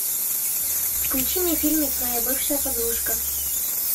включи мне фильмик моя бывшая подружка